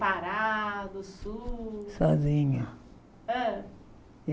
Pará, do Sul... Sozinha. Hã